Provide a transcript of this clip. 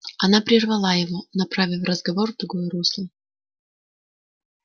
она прервала его направив разговор в другое русло